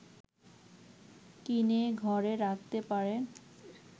কিনে ঘরে রাখতে পারেন